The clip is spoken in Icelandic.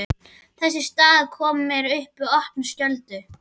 Þessi staða kom mér í opna skjöldu.